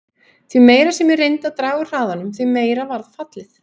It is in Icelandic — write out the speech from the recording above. Því meira sem ég reyndi að draga úr hraðanum, því meira varð fallið.